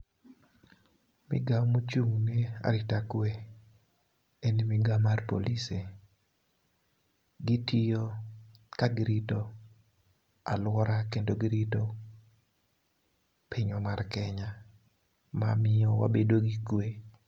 Migawo mochung' ne arita kwe en migwao mar polise. Gitiyo ka girito aluora kendo girito pinywa mar kenya ma miyo wabedo gi kwe.